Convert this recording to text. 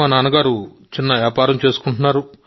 మా నాన్న చిన్న వ్యాపారం చేస్తారు